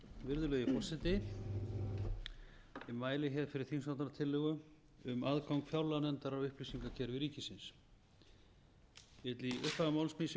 virðulegi forseti ég mæli hér fyrir þingsályktunartillögu um aðgang fjárlaganefndar að upplýsingakerfi ríkisins ég vil í upphafi máls míns